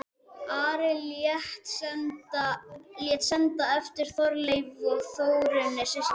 Ari lét senda eftir Þorleifi og Þórunni systur sinni.